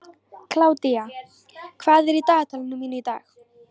Kládía, hvað er í dagatalinu mínu í dag?